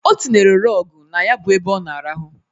Ọ tinyere rọgụ na ya bụ ebe ọ na-arahụ.